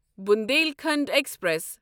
Bundelkhand express